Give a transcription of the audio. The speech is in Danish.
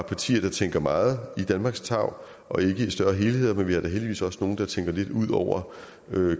partier der tænker meget i danmarks tarv og ikke i større helheder men vi har da heldigvis også nogle der tænker lidt ud over